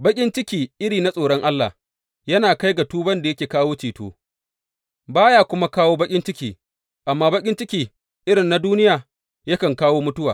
Baƙin ciki irin na tsoron Allah yana kai ga tuban da yake kawo ceto, ba ya kuma kawo baƙin ciki, amma baƙin ciki irin na duniya yakan kawo mutuwa.